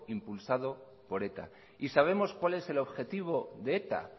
impulsado por eta y sabemos cual es el objetivo de eta